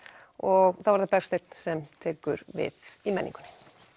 og þá er það Bergsteinn sem tekur við í menningunni